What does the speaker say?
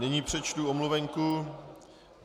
Nyní přečtu omluvenku.